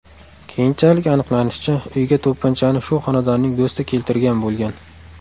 Keyinchalik aniqlanishicha, uyga to‘pponchani shu xonadonning do‘sti keltirgan bo‘lgan.